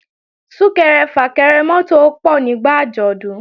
Sún-kẹrẹ-fà-kẹrẹ mọ́tò ó pọ̀ nígbà àjọ̀dún